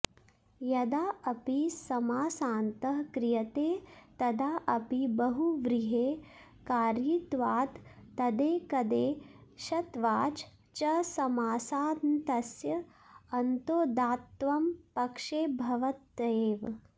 यदा ऽपि समासान्तः क्रियते तदा अपि बहुव्रीहेः कार्यित्वात् तदेकदेशत्वाच् च समासान्तस्य अन्तोदात्तत्वं पक्षे भवत्येव